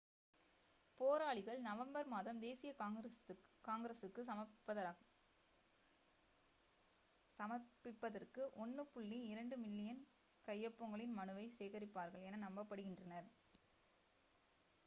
போராளிகள் நவம்பர் மாதம் தேசிய காங்கிரசுக்கு சமர்ப்பிப்பதற்கு 1.2 மில்லியன் கையொப்பங்களின் மனுவை சேகரிப்பார்கள் என நம்பப்படுகின்றனர்